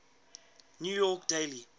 new york daily